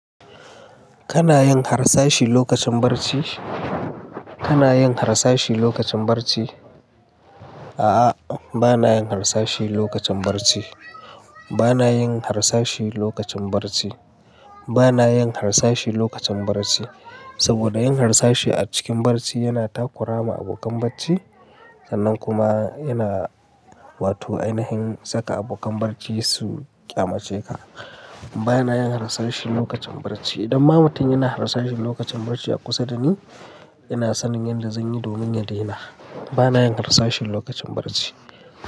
Kana yin harsashi lokacin barci? Kana yin harsashi lokacin barci? A'a, ba na yin harsashi lokacin barci. Ba na yin harsashi lokacin barci. Ba na yin harsashi lokacin barci. Saboda yin harsashi a cikin barci yana takura ma abokan barci, sannan kuma yana, wato ainahin yin saka abokan barci su ƙyamace ka. Ba na yin harsashi lokacin barci. Idan ma mutum yana harsashi lokacin barci a kusa da ni, ina sanin yanda zan yi domin ya daina. Ba na yin harsashi lokacin barci.